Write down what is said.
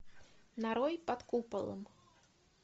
нарой под куполом